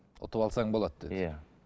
ұтып алсаң болады деді иә